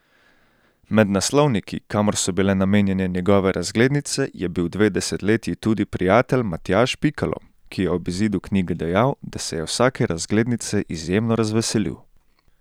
Med naslovniki, kamor so bile namenjene njegove razglednice, je bil dve desetletji tudi prijatelj Matjaž Pikalo, ki je ob izidu knjige dejal, da se je vsake razglednice izjemno razveselil.